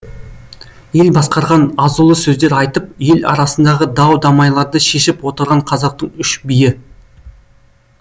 ел басқарған азулы сөздер айтып ел арасындағы дау дамайларды шешіп отырған қазақтың үш биі